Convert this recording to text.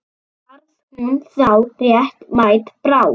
Varð hún þá réttmæt bráð?